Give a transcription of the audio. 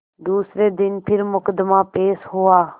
दूसरे दिन फिर मुकदमा पेश हुआ